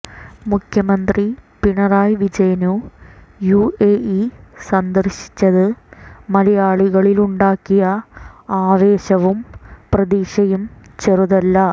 മുഖ്യമന്ത്രി പിണറായി വിജയന് U A E സന്ദര്ശിച്ചത് മലയാളികളിലുണ്ടാക്കിയ ആവേശവും പ്രതീക്ഷയും ചെറുതല്ല